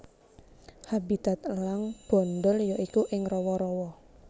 Habitat elang bondol ya iku ing rawa rawa